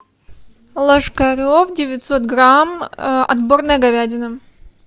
ложкарев девятьсот грамм отборная говядина